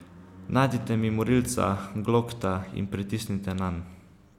Najdite mi morilca, Glokta, in pritisnite nanj.